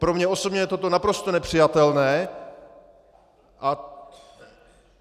Pro mě osobně je toto naprosto nepřijatelné.